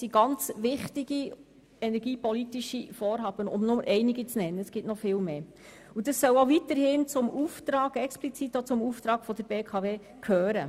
Dies sind einige der wichtigen energiepolitischen Vorhaben und sie sollen auch weiterhin explizit zum Auftrag der BKW gehören.